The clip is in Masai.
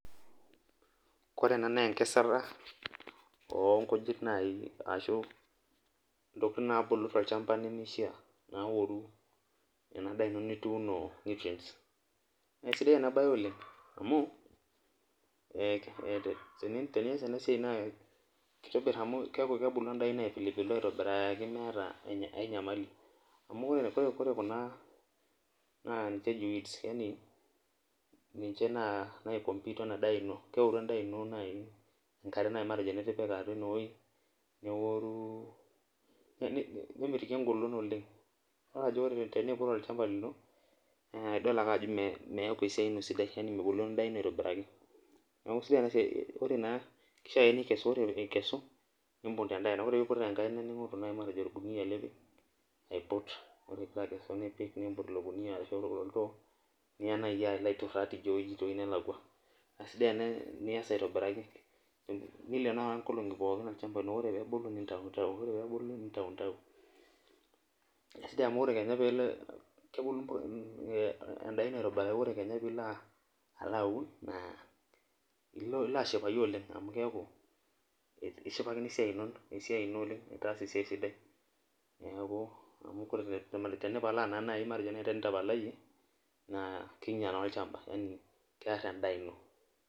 Ore ena na enkesata onkujit ashu ntokitin nabulu tolchamba nemeisha naoru enadaa ino nituuno nutrients na kesidai enabae olenh amu tenias enasia nakitobir amu kebulu endaa ino aitobiraki meeta enyamali amu ore kuna na keji weeds yani nimche naoru endaa endaa ino matejo nitipika enewueji neoru nemitiki engolon oleng na eneiput endaa ino idol ajo mebulu endaa ino aitobiraki neaku sidai enasia ore ikesu nibung tendaina ningoru orkunia lipik aiput arashu oltoo nilobaituraa tewoi nelakwa nileeno olchamba lino ore pebulu nintautau ma kesidai amu ore kenya pebulu endaa ino aitobiraki pilo aun na ilo ashipakino oleng amu itaasa esiai sidai neaku tenitapalayie na kear endaa ino